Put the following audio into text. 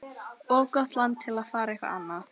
Of gott land til að fara eitthvað annað.